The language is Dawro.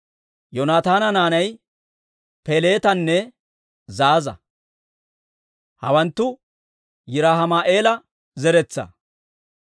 Yoonataana naanay Peleetanne Zaaza. Hawanttu Yiraahima'eela zeretsaa.